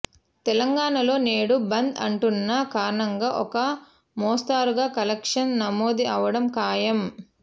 తెలంగాణలో నేడు బంద్ అంటున్న కారణంగా ఒక మోస్తరుగా కలెక్షన్స్ నమోదు అవ్వడం ఖాయం